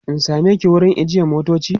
in sameki wurin ajiye motoci?